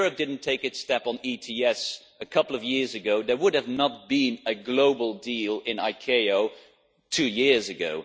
If Europe had not taken its step on ETS a couple of years ago, there would not have been a global deal in ICAO two years ago.